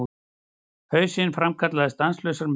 Hausinn framkallaði stanslausar myndir.